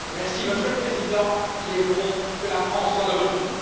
Monsieur le Président, il est bon que la France soit de retour.